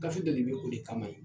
Gafe dɔ de bɛ o de kama